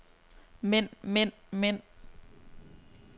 mænd mænd mænd